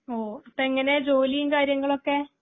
ഓ അപ്പോ എങ്ങനെയാ ജോലിയും കാര്യങ്ങളുമൊക്കെ?